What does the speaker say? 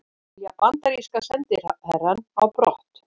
Vilja bandaríska sendiherrann á brott